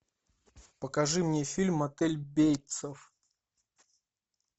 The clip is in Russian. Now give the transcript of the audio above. покажи мне фильм мотель бейтсов